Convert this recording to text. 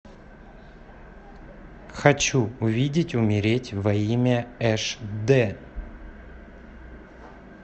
хочу увидеть умереть во имя эш дэ